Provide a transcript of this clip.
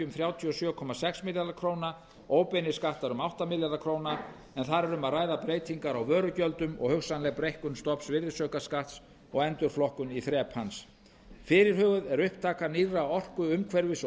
þrjátíu og sjö komma sex milljarða króna óbeinir skattar um átta milljarða króna en þar er um að ræða breytingar á vörugjöldum og hugsanleg breikkun stofns virðisaukaskatts og endurflokkun í þrep hans fyrirhuguð er upptaka nýrra orku umhverfis og